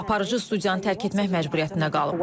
Aparıcı studiyanı tərk etmək məcburiyyətində qalıb.